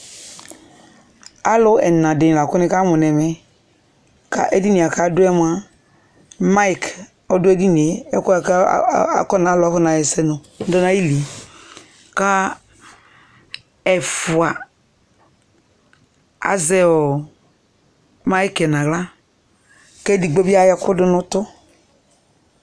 alò ɛna di la kò ni ka mo n'ɛmɛ k'edini yɛ k'adu yɛ moa maik ɔdo edini yɛ ɛkò yɛ boa k'alò afɔna ɣa ɛsɛ moa ɔdò ayili yɛ k'ɛfua azɛ maik yɛ n'ala k'ɛdigbo bi ayɔ ɛkò do n'utò